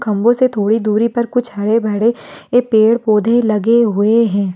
खम्बो से थोड़ी दूरी पर कुछ हरे भरे पेड़ पौधे लगे हुए हैं।